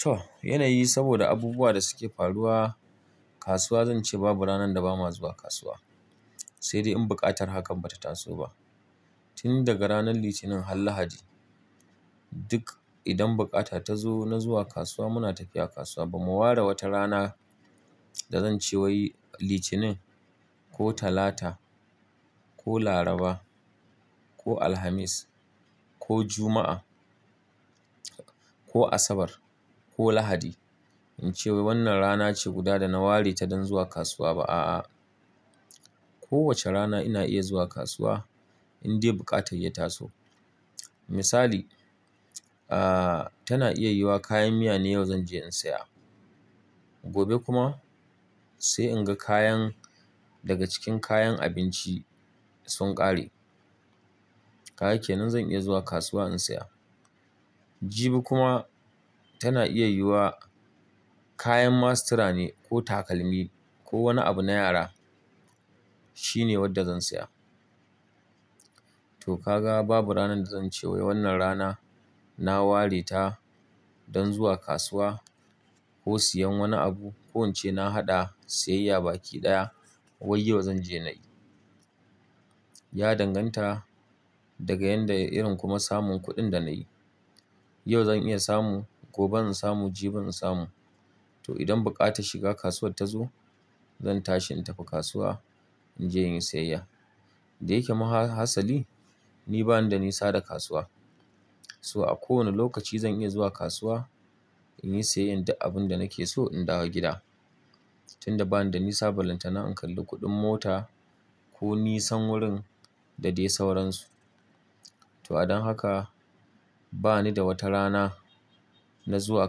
To, yanayi saboda abubuwa da suke faruwa kasuwa zan ce babu ranar da ba ma zuwa kasuwa. Sai dai in buƙatar hakan ba ta taso ba. Tun daga ranar Litinin har Lahadi duk idan bukata ta zo na zuwa kasuwa muna tafiya kasuwa. Ba mu ware wata rana da zan ce wai Litinin ko Talata ko Laraba ko Alhamis ko Juma'a ko Asabar ko Lahadi in ce wannan rana ce guda da na ware ta don zuwa kasuwa ba a'a. Kowace rana ina iya zuwa kasuwa indai buƙatar ya taso. Misali, ah tana iya yiwuwa kayan miya ne yau zan je in saya. Gobe kuma sai in ga kayan daga cikin kayan abinci sun ƙare. Haka kenan zan iya zuwa kasuwa in saya. Jibi kuma tana iya yiwuwa kayan mastira ne ko takalmi ko wani abu na yara shine wanda zan saya. To ka ga babu ranar da zan ce wai wannan rana na ware ta don zuwa kasuwa ko siyan wani abu ko in ce na haɗa siyayya baki ɗaya wai yau zan je na yi. Ya danganta daga yadda irin kuma samun kuɗin da na yi. Yau zan iya samu, gobe in samu, jibi in samu. To idan buƙata shiga kasuwar ta zo zan tashi in tafi kasuwa in je in yi siyayya. Da yakema hasali ni bani da nisa da kasuwa. So a kowane lokaci zan iya zuwa kasuwa in yi siyayya inda abin da nake so in dawo gida. Tun da bani da nisa, ballantana in kalli kuɗin mota ko nisan wurin da dai sauransu. To, a don haka bani da wata rana na zuwa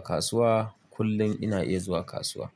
kasuwa. Kullum ina iya zuwa kasuwa.